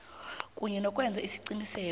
kunye nokwenza iqiniso